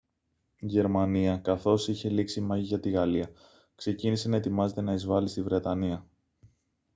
η γερμανία καθώς είχε λήξει η μάχη για τη γαλλία ξεκίνησε να ετοιμάζεται να εισβάλει στη βρετανία